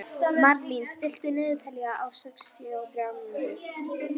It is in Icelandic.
Marlín, stilltu niðurteljara á sextíu og þrjár mínútur.